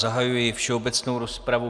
Zahajuji všeobecnou rozpravu.